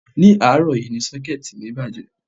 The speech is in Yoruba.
Ní àárọ̀ yìí ni Ṣọ́kẹ́ẹ̀tì mi bàjẹ́